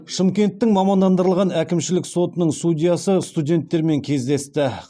шымкенттің мамандандырылған әкімшілік сотының судьясы студенттермен кездесті